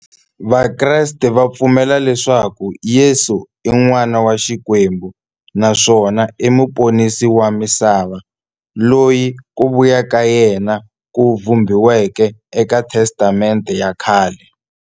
Vakreste va pfumela leswaku Yesu i n'wana wa Xikwembu naswona i muponisi wa misava, loyi ku vuya ka yena ku vhumbiweke eka Testamente ya khale.